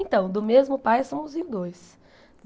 Então, do mesmo pai somos em dois.